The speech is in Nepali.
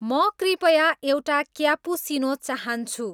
म कृपया एउटा क्याप्पुसिनो चाहन्छु